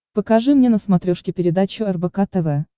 покажи мне на смотрешке передачу рбк тв